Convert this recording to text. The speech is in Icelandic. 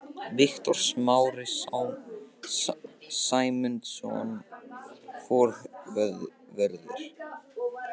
Viktor Smári Sæmundsson, forvörður.